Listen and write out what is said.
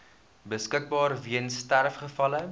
beskikbaar weens sterfgevalle